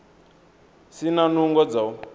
si na nungo dza u